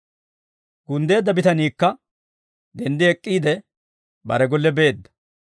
Gunddeedda bitaniikka denddi ek'k'iide, bare golle beedda.